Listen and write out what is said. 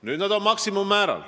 Nüüd on need seal maksimummääras.